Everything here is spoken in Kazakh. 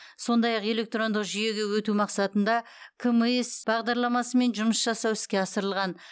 сондай ақ электрондық жүйеге өту мақсатында кмис бағдарламасымен жұмыс жасау іске асырылған